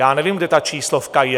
Já nevím, kde ta číslovka je.